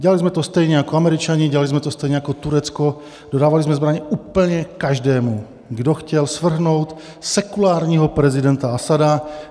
Dělali jsme to stejně jako Američani, dělali jsme to stejně jako Turecko, dodávali jsme zbraně úplně každému, kdo chtěl svrhnout sekulárního prezidenta Asada.